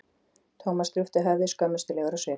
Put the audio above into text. Thomas drúpti höfði, skömmustulegur á svip.